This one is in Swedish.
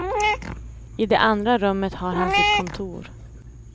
I det andra rummet har han sitt kontor.